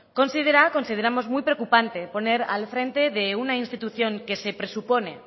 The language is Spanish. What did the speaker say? consideramos muy preocupante poner al frente de una institución que se presupone